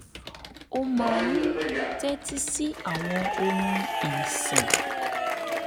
ó máa ń tẹ́tí sí àwọn orin ìsìn